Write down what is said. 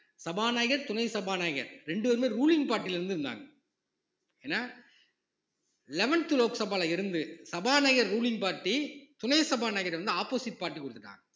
சபாநாயகர் துணை சபாநாயகர் இரண்டு பேருமே ruling party ல இருந்து இருந்தாங்க ஏன்னா eleventh லோக் சபால இருந்து சபாநாயகர் ruling party துணை சபாநாயகர்கிட்ட வந்து opposite party கொடுத்துட்டாங்க